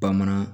Bamanan